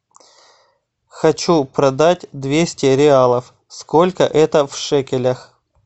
хочу продать двести реалов сколько это в шекелях